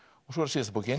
svo